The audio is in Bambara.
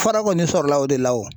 Fara kɔni sɔrɔla o de la o.